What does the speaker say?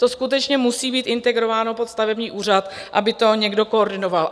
To skutečně musí být integrováno pod stavební úřad, aby to někdo koordinoval.